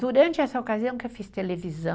Durante essa ocasião que eu fiz televisão,